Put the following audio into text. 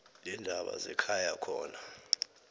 leendaba zekhaya khona